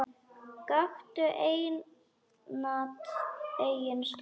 Gakktu einatt eigin slóð.